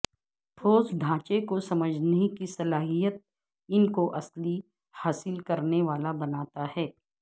ٹھوس ڈھانچے کو سمجھنے کی صلاحیت ان کو اصلی حاصل کرنے والا بناتا ہے